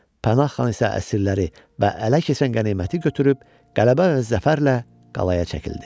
Pənah xan isə əsirləri və ələ keçə qəniməti götürüb, qələbə və zəfərlə qalaya çəkildi.